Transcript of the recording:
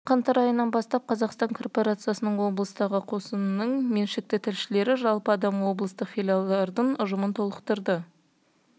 жылдың қаңтар айынан бастап қазақстан корпорациясының облыстағы қосынының меншікті тілшілері жалпы адам облыстық филиалдардың ұжымын толықтырады